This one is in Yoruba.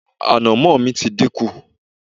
ànàmọ́ mi ti dínkù